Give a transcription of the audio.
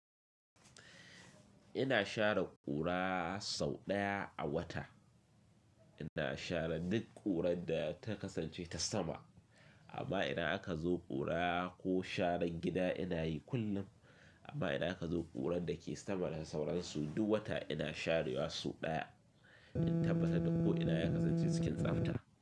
Ina share ƙura sau ɗaya a wata, ina share duk ƙurar da ta kasance ta sama. Amma idan aka zo ƙura ko sharan gida ina yi kullum. Amma idan aka zo ƙurar da ke sama da sauransu duk wata ina share wa sau ɗaya. In tabbatar da ko ina ya kasance cikin tsabta.